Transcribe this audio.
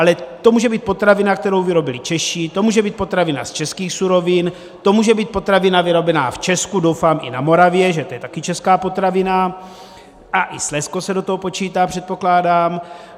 Ale to může být potravina, kterou vyrobili Češi, to může být potravina z českých surovin, to může být potravina vyrobená v Česku, doufám i na Moravě, že to je taky česká potravina, a i Slezsko se do toho počítá, předpokládám.